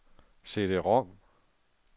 CD-rom